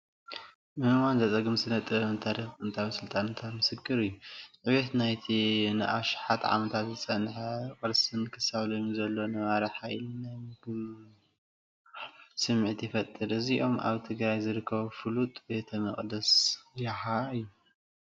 ንምእማኑ ዘጸግም ስነ-ጥበብን ታሪኽን ጥንታውያን ስልጣነታት ምስክር እዩ። ዕቤት ናይቲ ንኣሽሓት ዓመታት ዝጸንሐ ቅርስን ክሳብ ሎሚ ዘለዎ ነባሪ ሓይልን ናይ ምግራም ስምዒት ይፈጥር። እዚኦም ኣብ ትግራይ ዝርከብ ፍሉጥ ቤተ መቕደስ ያሃ እዩ፡፡